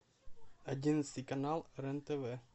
одиннадцатый канал рен тв